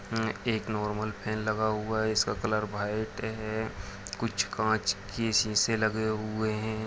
म-म-मए-एक normal fan लगा हुआ है इसका कलर व्हाइट है कुछ काँच के सीसे लगे हुए है।